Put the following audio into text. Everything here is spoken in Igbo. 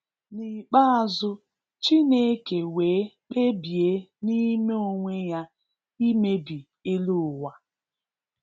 N'ikpeazu, Chineke wee kpebie n'ime onwe ya imebi elu ụwa